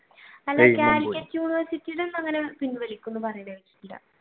അല്ല calicut university യുടെ അങ്ങനെ പിൻവലിക്കുമെന്ന്